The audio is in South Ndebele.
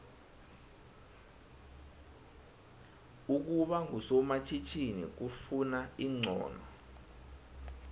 ukuba ngusomatjhinini kufuna ixhono